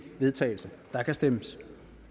vedtagelse der kan stemmes